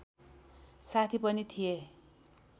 साथी पनि थिए